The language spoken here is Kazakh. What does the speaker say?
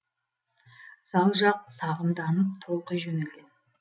зал жақ сағымданып толқи жөнелген